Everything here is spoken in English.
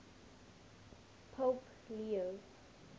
pope leo